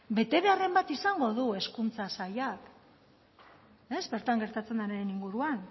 betebeharren bat izango du hezkuntza sailak ez bertan gertatzen denaren inguruan